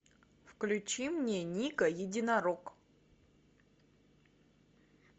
включи мне нико единорог